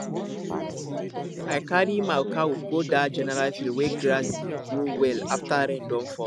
i carry my cow go that general field wey grass dey grow well after rain don fall